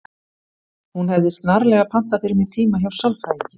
Hún hefði snarlega pantað fyrir mig tíma hjá sálfræðingi.